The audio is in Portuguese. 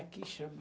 Aqui chama.